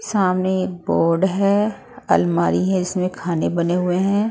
सामने एक बोर्ड है अलमारी है इसमें खाने बने हुए हैं।